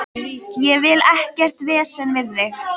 Ég vil ekkert vesen við þig.